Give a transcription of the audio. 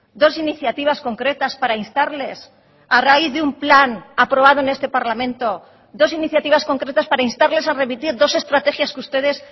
dos iniciativas concretas para instarles a raíz de un plan aprobado en este parlamento dos iniciativas concretas para instarles a remitir dos estrategias que ustedes